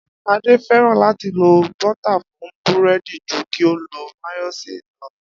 Adé fé̩ràn láti lo bó̩tà fún búré̩dì ju kí ó lo máyó̩néèsì lo̩